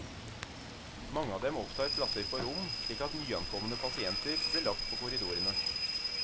Mange av dem opptar plasser på rom, slik at nyankomne pasienter blir lagt på korridorene.